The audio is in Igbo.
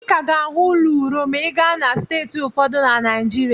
Ị ka ga-ahụ ụlọ ụrọ ma ị gaa na steeti ụfọdụ na Naịjirịa.